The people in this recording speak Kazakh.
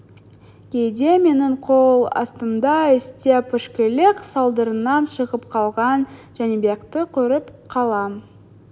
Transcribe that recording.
кейде менің қол астымда істеп ішкілік салдарынан шығып қалған жәнібекті көріп қалам